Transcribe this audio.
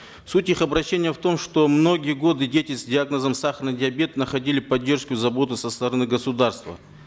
суть их обращения в том что многие годы дети с диагнозом сахарный диабет находили поддержку и заботу со стороны государства